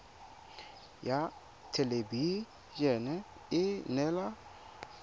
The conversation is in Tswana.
ya thelebi ene e neela